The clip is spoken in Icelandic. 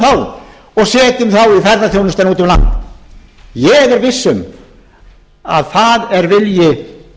út um land ég er viss um að það er vilji